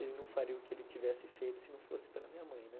ele não faria o que ele tivesse feito se não fosse pela minha mãe, né?